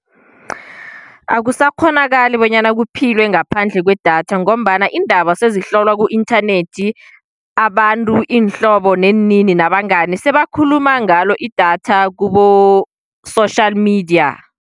Akusakghonakali bonyana kuphilwe ngaphandle kwedatha, ngombana iindaba sezihlolwa ku-inthanethi abantu iinhlobo neenini nabangani sebakhuluma ngalo idatha kibo-social media.